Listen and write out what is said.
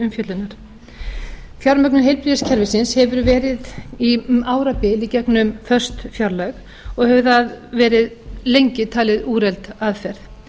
til umfjöllunar fjármögnun heilbrigðiskerfisins hefur verið um árabil í gegnum föst fjárlög og hefur það verið lengi talin úrelt aðferð